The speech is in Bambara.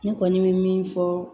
Ne kɔni bɛ min fɔ